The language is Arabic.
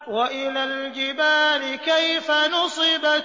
وَإِلَى الْجِبَالِ كَيْفَ نُصِبَتْ